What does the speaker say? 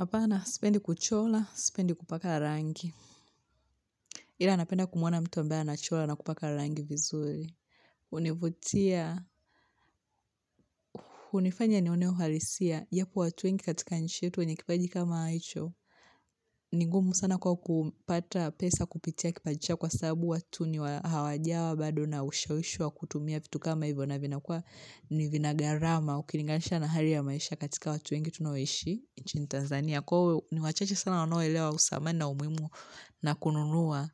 Hapana, sipendi kuchora, sipendi kupaka rangi. Ila napenda kumwona mtu ambaye anachora na kupaka rangi vizuri. Hunivutia, hunifanya nione uhalisia, ya kuwa watu wengi katika nchi yetu wenye kipaji kama hicho, ni ngumu sana kuwa kupata pesa kupitia kipaji chao kwa sababu watu ni hawajawa, bado na ushawishi wa kutumia vitu kama hivyo na vinakua ni vina gharama, ukilinganisha na hali ya maisha katika watu wengi tunaoishi. Nchini Tanzania kwao ni wachache sana wanoelewa usamani umuhimu na kununua